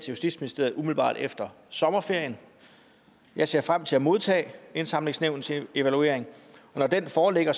justitsministeriet umiddelbart efter sommerferien jeg ser frem til at modtage indsamlingsnævnets evaluering og når den foreligger